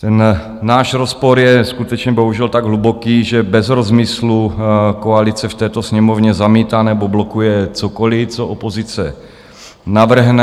Ten náš rozpor je skutečně bohužel tak hluboký, že bez rozmyslu koalice v této Sněmovně zamítá nebo blokuje cokoli, co opozice navrhne.